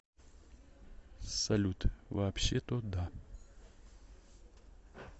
салют вообще то да